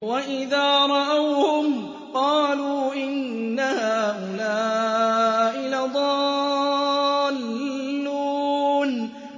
وَإِذَا رَأَوْهُمْ قَالُوا إِنَّ هَٰؤُلَاءِ لَضَالُّونَ